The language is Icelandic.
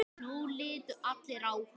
Nú litu allir á hann.